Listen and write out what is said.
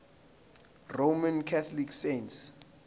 roman catholic saints